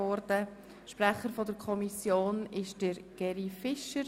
Kommissionssprecher ist Geri Fischer.